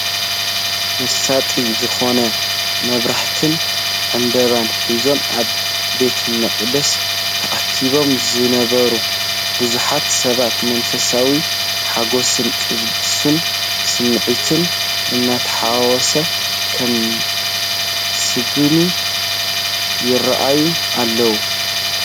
መሳጢ ዝኾነ መብራህትን ዕምባባን ሒዞም ኣብ ቤተ መቕደስ ተኣኪቦም ዝነበሩ ብዙሓት ሰባት፡ መንፈሳዊ ሓጎስን ቅዱስ ስምዒትን እናተሓወሶ ከመስግኑ ይረኣዩ ኣለው።